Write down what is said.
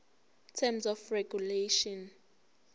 terms of regulation